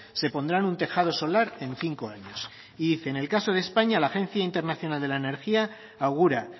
se pondrán un tejado solar en cinco años y dice en el caso de españa la agencia internacional de la energía augura